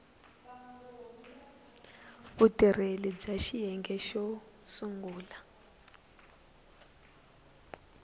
vutirheli bya xiyenge xo sungula